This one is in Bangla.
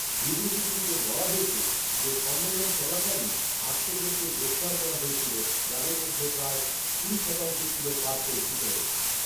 বিবৃতিগুলিতে বলা হয়েছে যে সম্মেলন চলাকালীন আটশো জনকে গ্রেপ্তার করা হয়েছিল, যাদের মধ্যে প্রায় কুড়ি শতাংশ ছিল পার্কের ভিতরে।